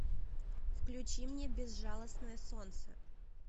включи мне безжалостное солнце